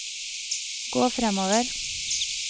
gå fremover